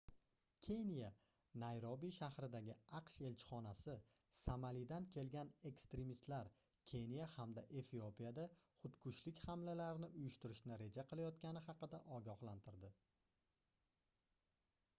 keniya nayrobi shahridagi aqsh elchixonasi somalidan kelgan ekstremistlar keniya hamda efiopiyada xudkushlik hamlalarini uyushtirishni reja qilayotgani haqida ogohlantirdi